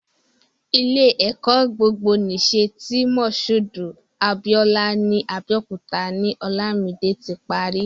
Ilé-ẹ̀kọ́ gbogbonìṣe ti Mushood Abiola ní Abẹ́òkúta ni Olamide ti pari.